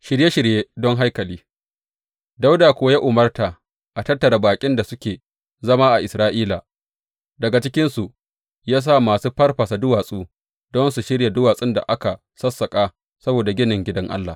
Shirye shirye don haikali Dawuda kuwa ya umarta a tattara baƙin da suke zama a Isra’ila, daga cikinsu ya sa masu farfasa duwatsu don su shirya duwatsun da aka sassaƙa saboda ginin gidan Allah.